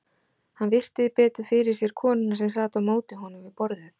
Hann virti betur fyrir sér konuna sem sat á móti honum við borðið.